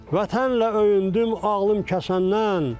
Vətənlə öyündüm ağlım kəsəndən.